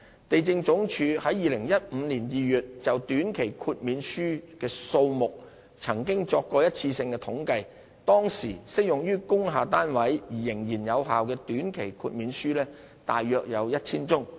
地政總署於2015年2月就短期豁免書數目曾作過一次性的統計，當時適用於工廈單位而仍然有效的短期豁免書約有 1,000 宗。